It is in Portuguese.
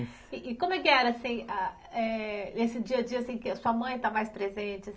E e como é que era, assim, ah, eh, esse dia-a-dia, assim, que a sua mãe está mais presente? assim